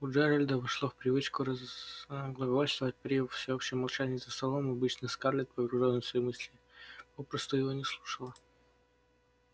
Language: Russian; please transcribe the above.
у джеральда вошло в привычку разглагольствовать при всеобщем молчании за столом и обычно скарлетт погружённая в свои мысли попросту его не слушала